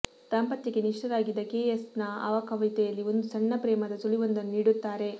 ದಾಂಪತ್ಯಕ್ಕೆ ನಿಷ್ಠರಾಗಿದ್ದ K S ನ ಆ ಕವಿತೆಯಲ್ಲಿ ಒಂದು ಸಣ್ಣ ಪ್ರೇಮದ ಸುಳಿವೊಂದನ್ನು ನೀಡುತ್ತಾರೆ